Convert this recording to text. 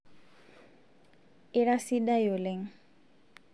ira sidai oleng'